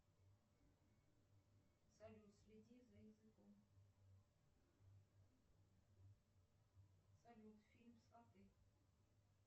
салют следи за языком салют фильм сваты